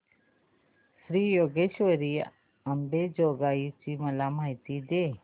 श्री योगेश्वरी अंबेजोगाई ची मला माहिती दे